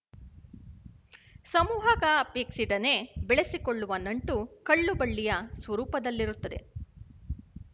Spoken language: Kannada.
ಸಮೂಹಗಪೇಕ್ಷಿಡನೆ ಬೆಳಸಿಕೊಳ್ಳುವ ನಂಟು ಕಳ್ಳುಬಳ್ಳಿಯ ಸ್ವರೂಪದಲ್ಲಿರುತ್ತದೆ